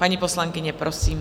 Paní poslankyně, prosím.